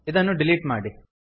ಇದನ್ನು ಡಿಲೀಟ್ ಮಾಡಿ